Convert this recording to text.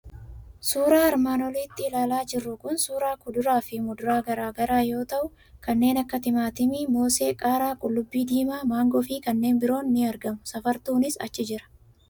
Suuraan armaan olitti ilaalaa jirru kun suuraa kuduraa fi muduraa garaa garaa yoo ta'u, kanneen akka timaatimii, mosee, qaaraa, qullubbii diimaa, maangoo fi kanneen biroon ni argamu. Safartuunis achi jira.